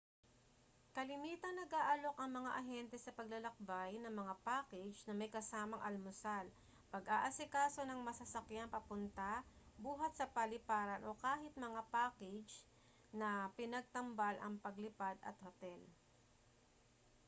kalimitang nag-aalok ang mga ahente sa paglalakbay ng mga package na may kasamang almusal pag-aasikaso ng masasakyan papunta/buhat sa paliparan o kahit mga package na pinagtambal ang paglipad at hotel